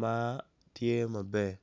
matye maber.